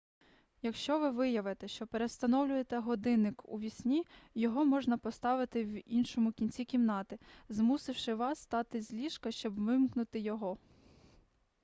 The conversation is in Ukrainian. якщо ви виявите що перевстановлюєте годинник уві сні його можна поставити в іншому кінці кімнати змусивши вас встати з ліжка щоб вимкнути його